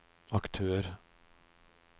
aktør